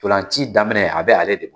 Ntolan ci daminɛ a be ale de